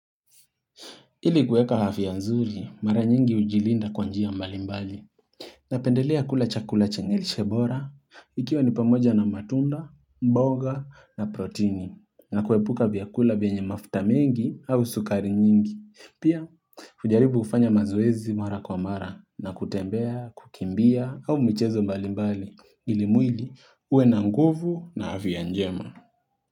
Ili kueka afya nzuri, mara nyingi ujilinda kwa njia mbali mbali. Napendelea kula chakula chenye lishebora, ikiwa nipamoja na matunda, mboga na protini, na kuepuka vyakula vienye mafuta mengi au sukari nyingi. Pia, hujaribu ufanya mazuezi mara kwa mara, na kutembea, kukimbia, au mchezo mbali mbali, ili mwili ue na nguvu na afya ya njema.